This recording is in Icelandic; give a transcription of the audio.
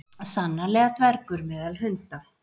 sannarlega dvergur meðal hunda